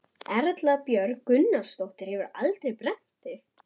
Erla Björg Gunnarsdóttir: Hefurðu aldrei brennt þig?